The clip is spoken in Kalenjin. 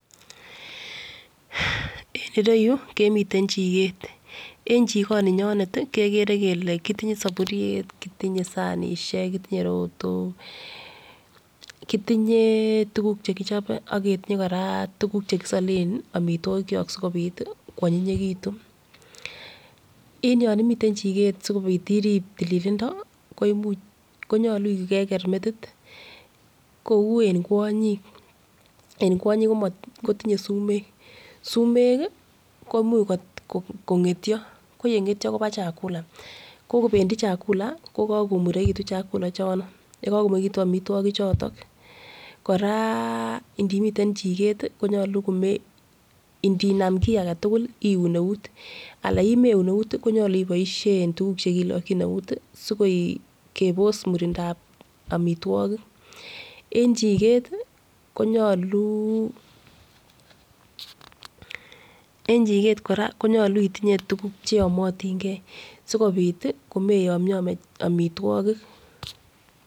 en ireyuu kemiten chiket, en chikoni nyonet tii kekere kele kitinye soburyet, kitinye sanishek, kitinye rotok, kitinye tukuk chekichobe ak ketinye Koraa tukuk chekisolen omitwokik chok sikopit tii kwonyiyekitun en yon imiten chiket sikopit irib tililindo ko imuch konyolu ko Keker metit kou en kwonyin, en kwonyin kotinye sumek sumek kii komuch kongetyo ko yengetyo kopendii chakula ko kopendii chakula ko kokomurekitun chakula chono yekokomurekitu omitwokik chotok Koraa ndimiten chiket tii konyolu komeun ndinam kii agetukul konyolu ko keun eut alan yemeun euti konyolu iboishen tukuk chekilokin eut sikopit kebos murindal omitwokik. En chiket tii konyoluu en chiket Koraa konyolu itinyee tukuk cheyomotingee sikopit tii komeyomyome omitwokik.